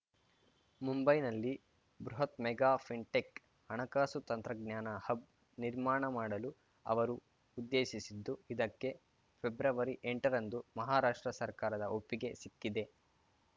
ಮುಂಬೈನಲ್ಲಿ ಬೃಹತ್‌ mega fintech ಹಣಕಾಸು ತಂತ್ರಜ್ಞಾನ ಹಬ್‌ ನಿರ್ಮಾಣ ಮಾಡಲು ಅವರು ಉದ್ದೇಶಿಸಿದ್ದು ಇದಕ್ಕೆ ಫೆಬ್ರವರಿಎಂಟರಂದು ಮಹಾರಾಷ್ಟ್ರ ಸರ್ಕಾರದ ಒಪ್ಪಿಗೆ ಸಿಕ್ಕಿದೆ